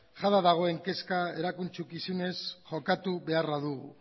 jada dagoen kezka erantzukizunez jokatu beharra dugu